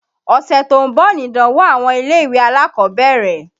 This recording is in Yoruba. Ọ̀sẹ̀ tó ń bọ̀ nìdánwó àwọn ilé-ìwé alákọ̀ọ́bẹ̀rẹ̀.